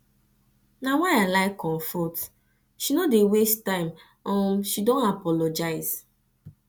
na why why i like comfort she no dey waste time um she don apologise